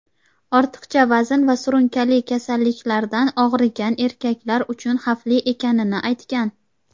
ortiqcha vazn va surunkali kasalliklardan og‘rigan erkaklar uchun xavfli ekanini aytgan.